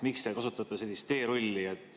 Miks te kasutate sellist teerulli?